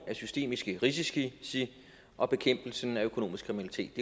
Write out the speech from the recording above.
af systemiske risici og bekæmpelsen af økonomisk kriminalitet